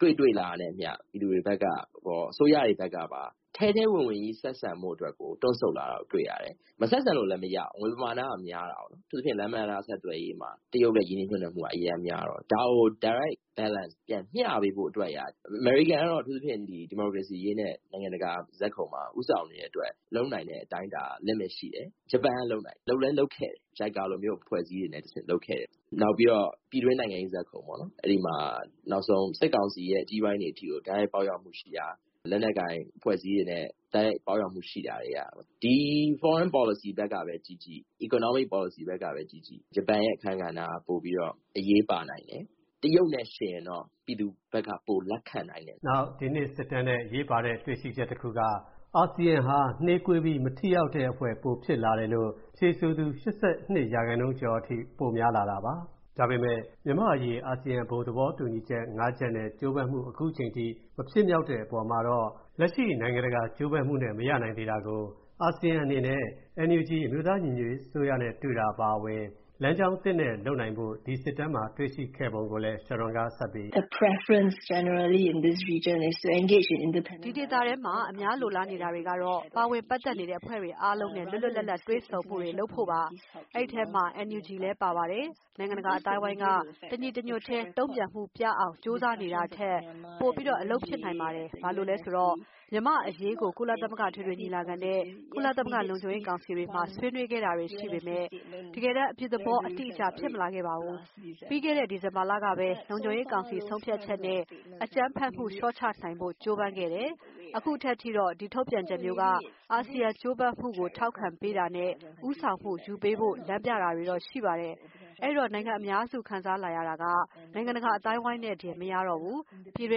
ကိုတွေ့ရတယ်။ ဒါမျိုးတွေကို တွေ့လာရတာနဲ့အမျှ ပြည်သူတွေရော အစိုးရတွေဖက်ကပါ တရုတ်နဲ့ ထဲထဲဝင်ဝင် ဆက်ဆံဖို့အတွက် တွန့်ဆုတ်လာတာ တွေ့ရတယ်။ မဆက်ဆံလို့ကလည်း မရဘူး။ ငွေပမာဏက များတာကိုး။ အထူးသဖြင့် လမ်းပန်းတံတား ဆက်သွယ်ရေးမှာ တရုတ်ရဲ့ ရင်းနှီးမြှုပ်နှံမှုက အရမ်းများတော့ ဒါကို ပြန်မျှပေးဖို့အတွက်.. အမေရိကန်ကတော့ အထူးသဖြင့် ဒီမိုကရေစီအရေးနဲ့ နိုင်ငံတကာ ဇာတ်ခုံမှာ ဦးဆောင်နေတဲ့အတွက် လုပ်နိုင်တဲ့အတိုင်းအတာ နဲနဲရှိတယ်။ ဂျပန်က လုပ်နိုင်တယ်၊ လုပ်လည်းလုပ်ခဲ့တယ် JICA လိုမျိုး အဖွဲ့စည်းတွေကတဆင့်ပေါ့။ နောက်ပြီး ပြည်တွင်းနိုင်ငံရေး ဇာတ်ခုံမှာ နောက်ဆုံး စစ်ကောင်စီရဲ့ အကြီးပိုင်းတွေအထိကို တိုက်ရိုက် ပေါက်ရောက်မှုရှိတာ၊ လက်နက်ကိုင်အဖွဲ့အစည်းတွေနဲ့ တိုက်ရိုက်ပေါက်ရောက်မှု ရှိတာတွေ တွေ့ရတယ်။ ဒီ နိုင်ငံခြားရေးမူဝါဒ ဖက်ကပဲ ကြည့်ကြည့်၊ စီးပွားရေးဖက်ကပဲ ကြည့်ကြည့် ဂျပန်ရဲ့အခန်းကဏ္ဍက ပိုပြီးတော့ အရေးပါနိုင်တယ်။ တရုတ်နဲ့ယှဉ်ရင် ပြည်သူဖက်က ဂျပန်ကို ပိုပြီးလက်ခံနိုင်တယ်။ ” ဒီနှစ် ISEAS စစ်တမ်းရဲ့အရေးပါတဲ့ တွေ့ရှိချက်တခုက အာဆီယံဟာ နှေးကွေးပြီး မထိရောက်တဲ့အဖွဲ့ ဖြစ်လာတယ်လို့ ဖြေဆိုသူ ၈၂% ကျော်က ဆိုပါတယ်။ ဒါပေမဲ့ မြန်မာ့အရေး အာဆီယံ ဘုံသဘောတူညီချက်(၅)ရပ် ခုချိန်ထိ အကောင်အထည် ပေါ်မလာသေးတဲ့ အပေါ်မှာတော့ လက်ရှိနိုင်ငံတကာ ကြိုးပမ်းမှုနဲ့ မလုံလောက်သေးတာကြောင့် ၊ အာဆီယံဖက်ကလည်း NUG အမျိုးသားညီညွတ်ရေးအစိုးရနဲ့ တွေ့ဆုံတာအပါအဝင် လမ်းကြောင်းအသစ်နဲ့ လုပ်ဖို့လိုကြောင်း ဒီစစ်တမ်းအသစ်မှာ ဖေါ်ပြထားပုံကို Sharon Seah ပြောတာက- “ ဒီဒေသထဲ အများ လိုလားနေတာကတော့ ပါဝင်ပတ်သက်နေတဲ့ အဖွဲ့တွေအားလုံးနဲ့ လွတ်လွတ်လပ်လပ် တွေ့ဆုံမှုတွေလုပ်ဖို့ပါ။ ဒီအထဲ NUG လည်း ပါပါတယ်။ နိုင်ငံတကာက တညီတညွတ်ထဲ တုံ့ပြန်မှုပြအောင် ကြိုးစားနေတာထက် ပိုအလုပ်ဖြစ်နိုင်ပါတယ်။ ဘာလို့လဲဆိုတော့ မြန်မာ့အရေးကို ကုလအထွေထွေညီလာခံနဲ့ ကုလ လုံခြုံရေးကောင်စီတွေမှာ ဆွေးနွေးခဲ့တာတွေရှိခဲ့ပေမဲ့ တကယ်တမ်း အပြုသဘော အတိအကျ ဖြစ်မလာခဲ့ပါဘူး။ ပြီးခဲ့တဲ့ ဒီဇင်ဘာလကပဲ၊ ကုလလုံခြုံရေးကောင်စီ ဆုံးဖြတ်ချက်နဲ့ အကြမ်းဖက်မှု လျော့ချနိုင်ဖို့ ကြိုးပမ်းခဲ့တယ်၊ အခုထိတော့ ဒီထုတ်ပြန်ချက်မျိုးက အာဆီယံကြိုးပမ်းမှုကို ထောက်ခံပေးတာနဲ့ ဦးဆောင်မှုယူပေးဖို့ လမ်းပြတာတော့ရှိတယ်။ အဲ့ဒီတော့ နိုင်ငံအများ ခံစားလာရတာက နိုင်ငံတကာ အသိုင်းအဝိုင်းနဲ့တင် မရတော့ဘူး။ ပြည်တွ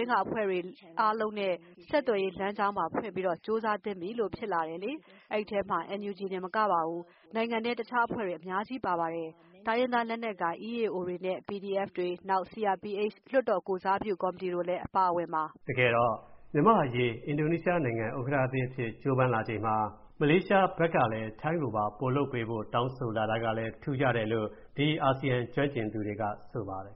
င်းက အဖွဲ့တွေအားလုံးနဲ့ ဆက်သွယ်ရေးလမ်းကြောင်း ဖွင့်ပြီးတော့ပါ ကြိုးစားသင့်ပြီလို့ ဖြစ်လာတယ်လေ။ ဒီအထဲ NUG တင် မကပါဘူး၊ နိုင်ငံထဲ တခြားအဖွဲ့တွေ အများကြီး ပါပါတယ်၊ တိုင်းရင်းသားလက်နက်ကိုင် EAOs တွေနဲ့ PDF ၊ နောက် CRPH လွှတ်တော်ကိုယ်စားပြုကော်မတီတို့လည်း အပါအဝင်ပါ။ ” တကယ်တော့ မြန်မာ့အရေး အင်ဒိုနီးရှားနိုင်ငံက ဥက္ကဌသစ်အဖြစ် ကြိုးပမ်းလာချိန်မှာ ထိုင်းနိုင်ငံအနေနဲ့လည်း ပိုလုပ်ပေးဖို့ မလေးရှားဖက်က တောင်းဆိုလာတာကလည်း ထူးခြားတယ်လို့ အာဆီယံကျွမ်းကျင်သူတွေက ဆိုပါတယ်